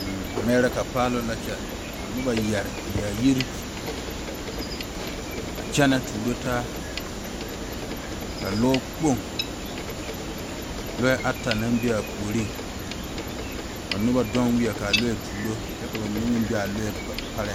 Ameereka paloŋ la a kyɛ a kyɛne tuuro taa ka lɔ kpoŋ a toɔ tuuro taa ka noba deŋ wiɛ kaa lɔre tuuro kyɛ bamine meŋ be a lɔɛ pare.